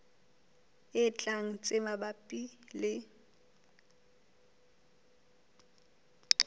e tlang tse mabapi le